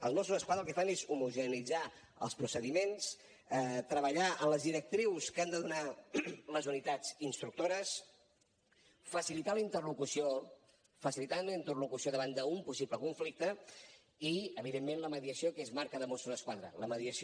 els mossos d’esquadra el que fan és homogeneïtzar els procediments treballar en les directrius que han de donar les unitats instructores facilitar la interlocució davant d’un possible conflicte i evidentment la mediació que és marca de mossos d’esquadra la mediació